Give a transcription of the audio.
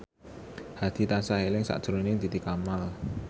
Hadi tansah eling sakjroning Titi Kamal